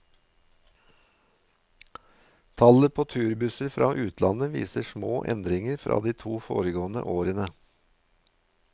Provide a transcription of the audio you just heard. Tallet på turbusser fra utlandet viser små endringer fra de to foregående årene.